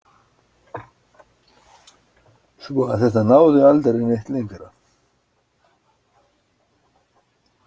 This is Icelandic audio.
Svo að þetta náði aldrei neitt lengra.